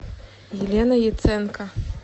елена яценко